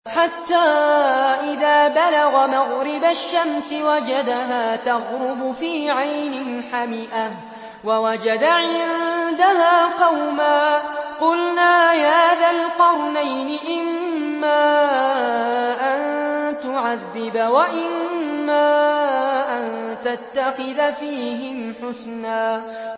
حَتَّىٰ إِذَا بَلَغَ مَغْرِبَ الشَّمْسِ وَجَدَهَا تَغْرُبُ فِي عَيْنٍ حَمِئَةٍ وَوَجَدَ عِندَهَا قَوْمًا ۗ قُلْنَا يَا ذَا الْقَرْنَيْنِ إِمَّا أَن تُعَذِّبَ وَإِمَّا أَن تَتَّخِذَ فِيهِمْ حُسْنًا